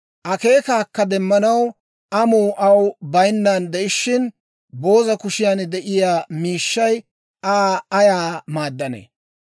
Akeekaakka demanaw amuu aw bayinnaan de'ishshin, booza kushiyan de'iyaa Miishshay Aa ayaa maadanne?